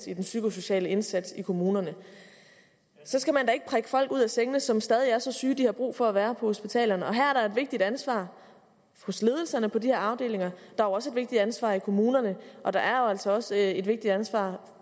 i den psykosociale indsats i kommunerne så skal man da ikke prikke folk ud af sengen som stadig er så syge at de har brug for at være på hospitalerne her er der et vigtigt ansvar hos ledelserne på de her afdelinger der er også et vigtigt ansvar i kommunerne og der er også også et vigtigt ansvar